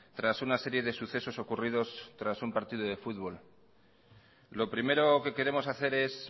tras una serie de sucesos ocurridos tras un partido de fútbol lo primero que queremos hacer es